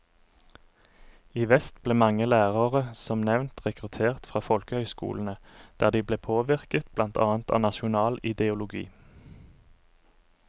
I vest ble mange lærere som nevnt rekruttert fra folkehøyskolene, der de ble påvirket blant annet av nasjonal ideologi.